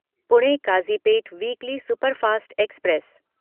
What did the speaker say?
Pune Kazipet weekly superfast express